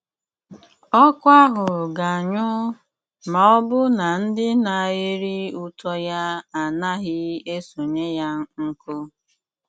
Ọ̀kụ́ ahụ̀ ga-anyụ ma ọ̀bụ̀ na ndị na-erí ùtọ́ ya a naghị esònyé yà nkụ́